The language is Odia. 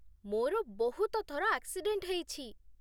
ମୋର ବହୁତ ଥର ଆକ୍ସିଡେଣ୍ଟ୍ ହେଇଛି ।